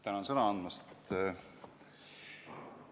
Tänan sõna andmast!